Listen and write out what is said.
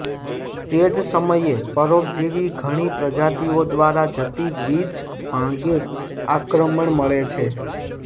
તે જ સમયે પરોપજીવી ઘણી પ્રજાતિઓ દ્વારા જતી વીજ માગે આક્રમણ મળે છે